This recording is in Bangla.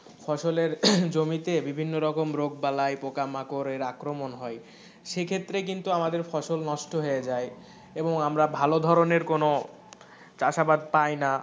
ফসলের জমিতে বিভিন্ন রকম রোগ বালাই পোকামাকড়ের আক্রমণ হয় সেই ক্ষেত্রে কিন্তু ফসল নষ্ট হয়ে যায় এবং আমরা ভালো ধরনের কোনো চাষ আবাদ পাই না,